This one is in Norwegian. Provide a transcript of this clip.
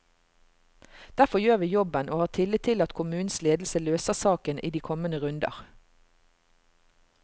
Derfor gjør vi jobben, og har tillit til at kommunens ledelse løser saken i de kommende runder.